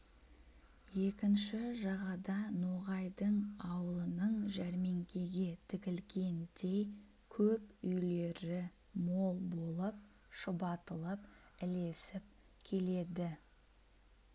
екінші жағада ноғай аулының жәрмеңкеге тігілгендей көп үйлері мол болып шұбатылып ілесіп келеді